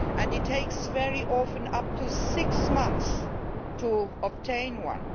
It takes very often up to six months to obtain one.